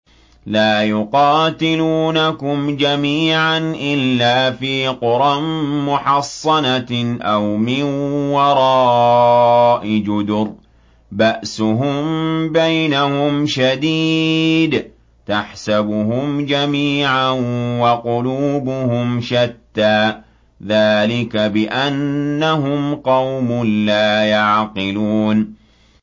لَا يُقَاتِلُونَكُمْ جَمِيعًا إِلَّا فِي قُرًى مُّحَصَّنَةٍ أَوْ مِن وَرَاءِ جُدُرٍ ۚ بَأْسُهُم بَيْنَهُمْ شَدِيدٌ ۚ تَحْسَبُهُمْ جَمِيعًا وَقُلُوبُهُمْ شَتَّىٰ ۚ ذَٰلِكَ بِأَنَّهُمْ قَوْمٌ لَّا يَعْقِلُونَ